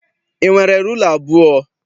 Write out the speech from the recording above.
I nwere rula abụọ?